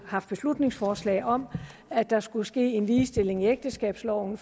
haft beslutningsforslag om at der skulle ske en ligestilling i ægteskabsloven